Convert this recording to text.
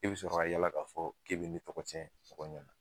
E bi sɔrɔ ka yala k'a fɔ k'e bi ne tɔgɔ cɛn tɔgɔw ɲɛna.